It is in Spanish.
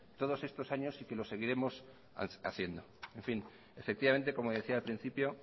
todos estos años y que los seguiremos haciendo en fin efectivamente como decía al principio